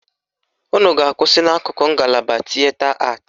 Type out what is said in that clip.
Unu ga-akwụsị n' akụkụ ngalaba tịeta atị.